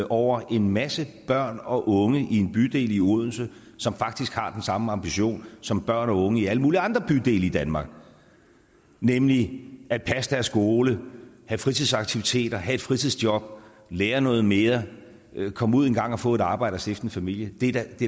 over en masse børn og unge i en bydel i odense som faktisk har den samme ambition som børn og unge i alle mulige andre bydele i danmark nemlig at passe deres skole have fritidsaktiviteter have et fritidsjob lære noget mere komme ud engang og få et arbejde og stifte en familie det er da